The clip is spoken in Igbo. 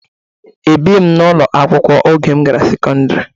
Abighị m n'ụlọ akwụkwọ oge m gara sekọndrị.